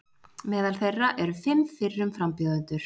Meðal þeirra eru fimm fyrrum frambjóðendur